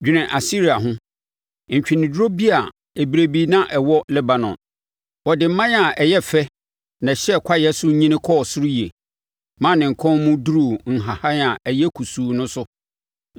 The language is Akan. Dwene Asiria ho, ntweneduro bi a berɛ bi na ɛwɔ Lebanon, Ɔde mman a ɛyɛ fɛ, na ɛhyɛ kwaeɛ so nyini kɔɔ ɔsoro yie, ma ne nkɔn mu boro nhahan a ayɛ kusuu no so.